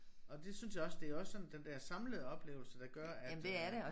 Og det synes jeg også det også sådan den der samlede oplevelse der gør at øh